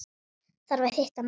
Þarf að hitta mann.